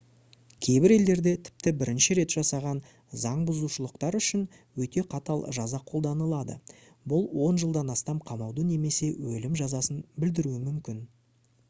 кейбір елдерде тіпті бірінші рет жасаған заңбұзушылықтар үшін өте қатал жаза қолданылады бұл 10 жылдан астам қамауды немесе өлім жазасын білдіруі мүмкін